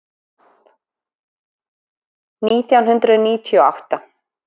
Nítján hundruð níutíu og átta